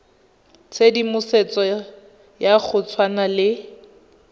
tshedimosetso ya go tshwana le